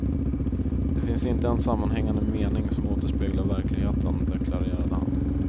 Det finns inte en sammanhängande mening som återspeglar verkligheten, deklarerade han.